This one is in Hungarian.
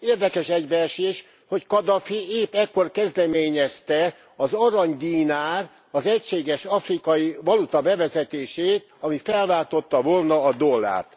Érdekes egybeesés, hogy Kadhafi épp ekkor kezdeményezte az arany dinár, az egységes afrikai valuta bevezetését, ami felváltotta volna a dollárt.